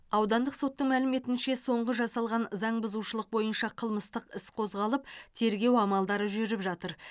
аудандық соттың мәліметінше соңғы жасалған заңбұзушылық бойынша қылмыстық іс қозғалып тергеу амалдары жүріп жатыр